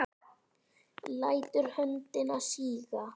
Lætur höndina síga.